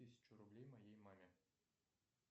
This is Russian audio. тысячу рублей моей маме